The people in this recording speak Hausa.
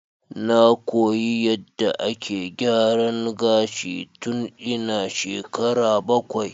Na koyi yadda ake gyaran gashi tun ina shekara bakwai.